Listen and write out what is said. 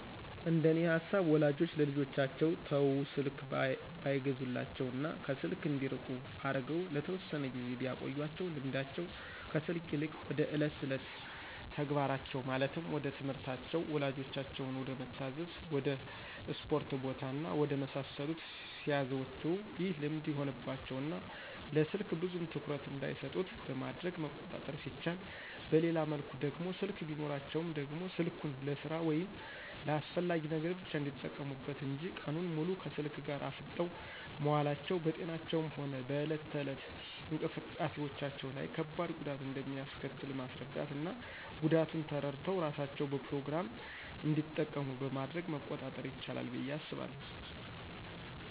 እንደኔ ሃሳብ ወላጆች ለልጆቻቸው ተው ስልክ ባይገዙላቸው እና ከስልክ እንዲርቁ አርገው ለተወሰነ ጊዜ ቢያቆዪአቸው ልምዳቸው ከስልክ ይልቅ ወደ እለት እለት ተግባራቸው ማለትም ወደትምህርታቸው፣ ወላጆቻቸውን ወደመታዛዝ፣ ወድ እስፖርት ቦታ እና ወደ መሳሰሉት ሲያዘወትሩ ይህ ልምድ ይሆንባቸው እና ለስልክ ብዙም ትኩረት እንዳይሰጡት በማድረግ መቆጣጠር ሲቻል በሌላ መልኩ ደግሞ ስልክ ቢኖራቸውም ደግሞ ስልኩን ልስራ ወይም ለአስፈላጊ ነገር ብቻ እንዲጠቀሙበት እንጅ ቀኑን ሙሉ ከስልክ ጋር አፍጠው መዋላቸው በጤናቸውም ሆነ በእለት እለት እንቅስቃሴዎቻቸው ላይ ከባድ ጉዳት እንደሚአስከትል ማስራዳት እና ጉዳቱን ተረድተው እራሳቸው በፕሮግራም እንዲጠቀሙ በማድረግ መቆጣጠር ይችላል ብዬ አስባለሁ።